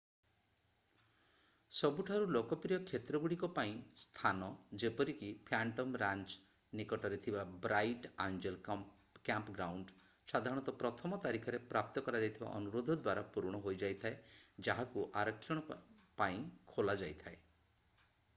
ସବୁଠାରୁ ଲୋକପ୍ରିୟ କ୍ଷେତ୍ରଗୁଡିକ ପାଇଁ ସ୍ଥାନ ଯେପରିକି ଫ୍ୟାଣ୍ଟମ୍ ରାଞ୍ଚ ନିକଟରେ ଥିବା ବ୍ରାଇଟ୍ ଆଞ୍ଜେଲ କ୍ୟାମ୍ପଗ୍ରାଉଣ୍ଡ ସାଧାରଣତଃ ପ୍ରଥମ ତାରିଖରେ ପ୍ରାପ୍ତ କରାଯାଇଥିବା ଅନୁରୋଧ ଦ୍ଵାରା ପୂରଣ ହୋଇଯାଇଥାଏ ଯାହାକୁ ଆରକ୍ଷଣ ପାଇଁ ଖୋଲାଯାଇଥାଏ